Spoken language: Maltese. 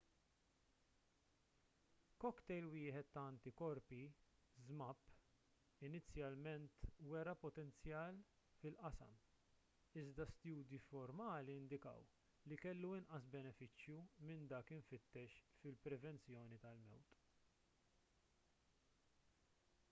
cocktail wieħed ta' antikorpi zmapp inizjalment wera potenzjal fil-qasam iżda studji formali indikaw li kellu inqas benefiċċju minn dak imfittex fil-prevenzjoni tal-mewt